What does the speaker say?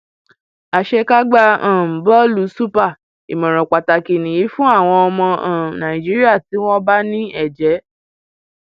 àṣekágbá um bọọlù super ìmọràn pàtàkì nìyí fún àwọn ọmọ um nàìjíríà tí wọn bá ní ẹjẹ